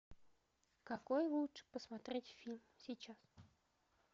какой лучше посмотреть фильм сейчас